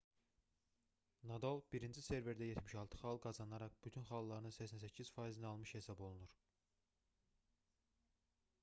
nadal birinci serverdə 76 xal qazanaraq bütün xalların 88%-ni almış hesab olunur